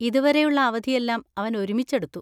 ഇതുവരെയുള്ള അവധിയെല്ലാം അവൻ ഒരുമിച്ചെടുത്തു.